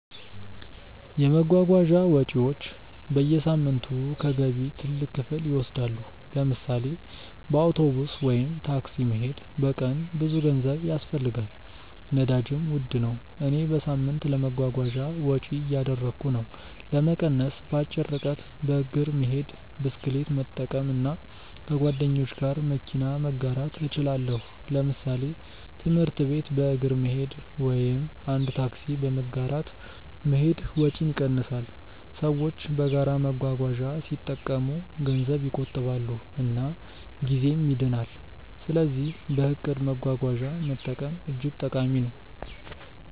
የመጓጓዣ ወጪዎች በየሳምንቱ ከገቢ ትልቅ ክፍል ይወስዳሉ። ለምሳሌ በአውቶቡስ ወይም ታክሲ መሄድ በቀን ብዙ ገንዘብ ያስፈልጋል፣ ነዳጅም ውድ ነው። እኔ በሳምንት ለመጓጓዣ ወጪ እያደረግሁ ነው። ለመቀነስ በአጭር ርቀት በእግር መሄድ፣ ብስክሌት መጠቀም እና ከጓደኞች ጋር መኪና መጋራት እችላለሁ። ለምሳሌ ትምህርት ቤት በእግር መሄድ ወይም አንድ ታክሲ በመጋራት መሄድ ወጪን ይቀንሳል። ሰዎች በጋራ መጓጓዣ ሲጠቀሙ ገንዘብ ይቆጥባሉ እና ጊዜም ይድናል። ስለዚህ በእቅድ መጓጓዣ መጠቀም እጅግ ጠቃሚ ነው።